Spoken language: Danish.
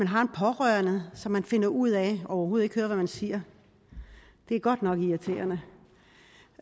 har en pårørende som man finder ud af overhovedet ikke hører hvad man siger det er godt nok irriterende